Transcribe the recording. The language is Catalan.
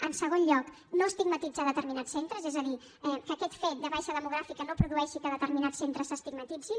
en segon lloc no estigmatitzar determinats centres és a dir que aquest fet de baixa demogràfica no produeixi que determinats centres s’estigmatitzin